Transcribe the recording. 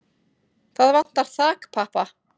Það vantar þakpappa.